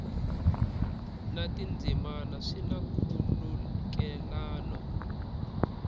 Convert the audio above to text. na tindzimana swi na nkhulukelano